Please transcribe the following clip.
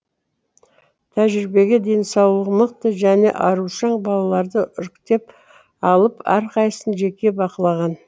тәжірибеге денсаулық мықты және арушаң балаларды іріктеп алып әрқайсысын жеке бақылаған